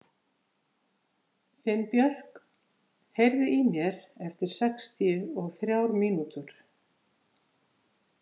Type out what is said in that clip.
Finnbjörk, heyrðu í mér eftir sextíu og þrjár mínútur.